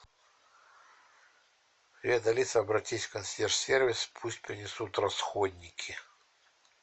привет алиса обратись в консьерж сервис пусть принесут расходники